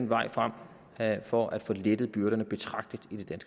vejen frem for at få lettet byrderne betragteligt